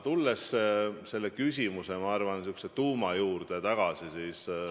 Tulen selle küsimuse, ma arvan, tuuma juurde tagasi.